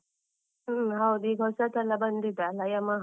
ಹ್ಮ್, ಹೌದು ಈಗ ಹೊಸತೆಲ್ಲ ಬಂದಿದೆ ಅಲ ಯಮಹ.